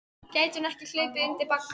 Gæti hún ekki hlaupið undir bagga?